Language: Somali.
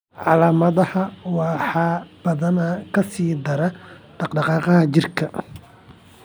Calaamadaha waxaa badanaa ka sii dara dhaqdhaqaaqa jirka.